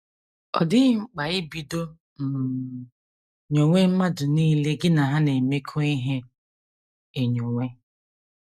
Ọ dịghị mkpa ibido um nyowe mmadụ nile gị na ha na - emekọ ihe enyowe.